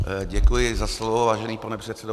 Děkuji za slovo, vážený pane předsedo.